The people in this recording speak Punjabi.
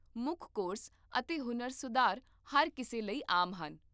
ਮੁੱਖ ਕੋਰਸ ਅਤੇ ਹੁਨਰ ਸੁਧਾਰ ਹਰ ਕਿਸੇ ਲਈ ਆਮ ਹਨ